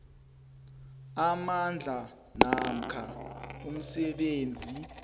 amandla namkha umsebenzi